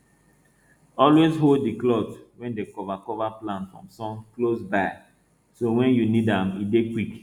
always hold di cloth wey dem cover cover plant from sun close by so wen you need am e dey quick